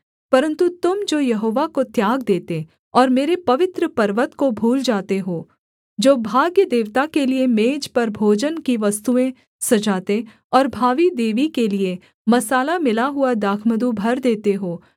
परन्तु तुम जो यहोवा को त्याग देते और मेरे पवित्र पर्वत को भूल जाते हो जो भाग्य देवता के लिये मेज पर भोजन की वस्तुएँ सजाते और भावी देवी के लिये मसाला मिला हुआ दाखमधु भर देते हो